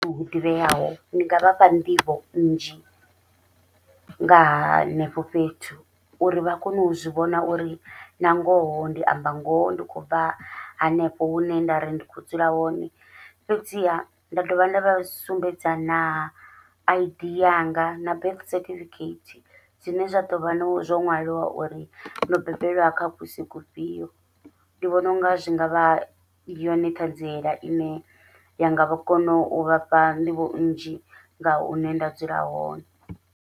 Hu ḓivheaho ndi nga vhafha nḓivho nnzhi nga henefho fhethu, uri vha kone u zwivhona uri na ngoho ndi amba ngoho ndi khou bva hanefho hune nda ri ndi kho dzula hone, fhedziha nda dovha nda vha sumbedza na Id yanga na birth certificate zwine zwa ḓovha no zwo ṅwaliwa uri ndo bebelwa kha kusi kufhio, ndi vhona unga zwi ngavha yone ṱhadziela ine ya nga vha kono u vhafha nḓivho nnzhi nga hune nda dzula hone.